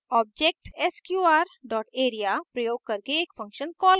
object sqr dot area प्रयोग करके एक function कॉल करना